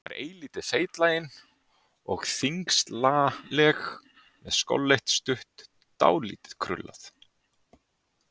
Hún var eilítið feitlagin og þyngslaleg, með skolleitt, stutt hár, dálítið krullað.